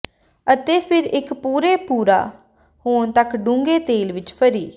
ਅਤੇ ਫਿਰ ਇੱਕ ਭੂਰੇ ਭੂਰਾ ਹੋਣ ਤੱਕ ਡੂੰਘੇ ਤਲੇ ਵਿੱਚ ਫਰੀ